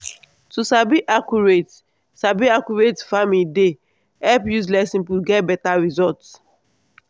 to sabi accurate sabi accurate farming dey help use less input get beta result.